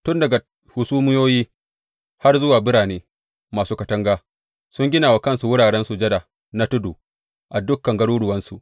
Tun daga hasumiyoyi har zuwa birane masu katanga, sun gina wa kansu wuraren sujada na tudu a dukan garuruwansu.